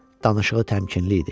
danışığı təmkinli idi.